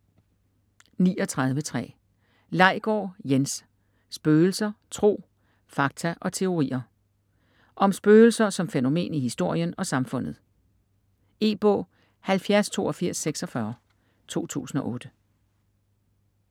39.3 Laigård, Jens: Spøgelser: tro, fakta og teorier Om spøgelser som fænomen i historien og samfundet. E-bog 708246 2008.